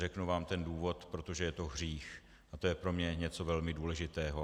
Řeknu vám ten důvod - protože je to hřích a to je pro mě něco velmi důležitého.